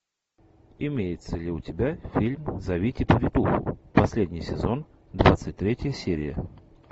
имеется ли у тебя фильм зовите повитуху последний сезон двадцать третья серия